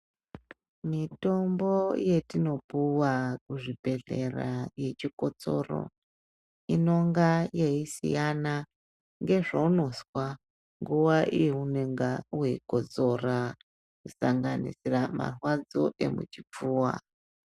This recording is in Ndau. Mitombo yetinopuwa kuzvibhedhlera yechikotsoro inonga yeisiyana ngezvaunozwa, nguwa yaunenge weikotsora kusanganisira marwadzo emuchipfuwa.